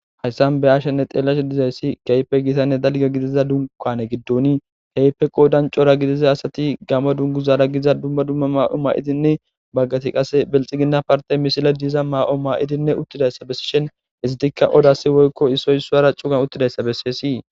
hayssan be ashenne xeellashe dizayssi keype gitanne dalga gidiza dunkane giddon keype qoo dancora gidiza asati gamo dungu zaara giza dumma dumma ma7o maa7idinne baggati qase belxi gina parte mishila diiza maa7o ma7idinne uttidayssa bessishen izitikka odasi woykko issoysuara cugan uttidayssa besseysii